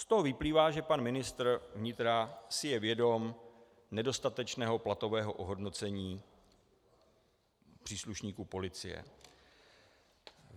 Z toho vyplývá, že pan ministr vnitra si je vědom nedostatečného platového ohodnocení příslušníků policie.